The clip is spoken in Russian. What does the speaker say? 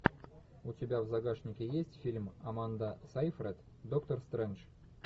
у тебя в загашнике есть фильм аманда сайфред доктор стрэндж